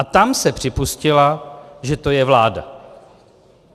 A tam se připustilo, že je to vláda.